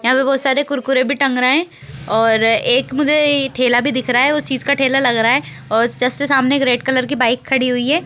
यहां पे बहोत सारे कुरकुरे भी टंग रहे है और एक मुझे ठेला भी दिख रहा है उस चीज का ठेला लग रहा है और जस्ट सामने एक रेड कलर की बाइक खड़ी हुई है।